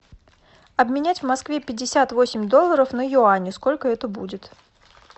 обменять в москве пятьдесят восемь долларов на юани сколько это будет